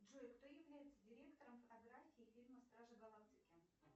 джой кто является директором фотографии фильма стражи галактики